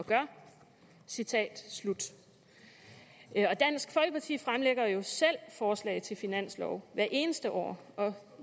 og gør citat slut dansk folkeparti fremlægger jo selv forslag til finanslov hvert eneste år og